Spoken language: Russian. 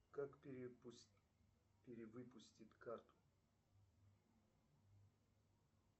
как перевыпустить карту